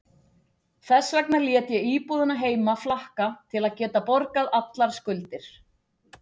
Þess vegna lét ég íbúðina heima flakka til að geta borgað allar skuldir.